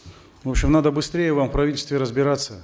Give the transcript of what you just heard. в общем надо быстрее вам в правительстве разбираться